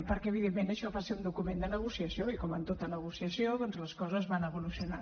perquè evidentment això va ser un document de negociació i com en tota negociació doncs les coses van evolucionant